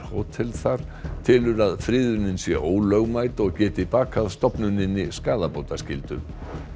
hótel þar telur að friðunin sé ólögmæt og geti bakað stofnuninni skaðabótaskyldu